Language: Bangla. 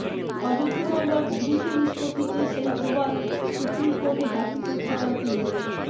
অযোধ্যা মামলার দ্রুত নিষ্পত্তিতে সেই প্রমাণ সুপ্রিম কোর্টে দাখিল করতে চান তিনি